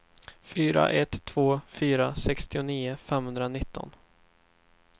fyra ett två fyra sextionio femhundranitton